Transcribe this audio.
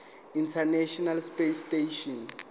international space station